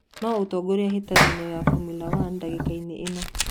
nũũ uratongorĩa hĩtahĩtoĩni ya formula one dagĩka ini ĩno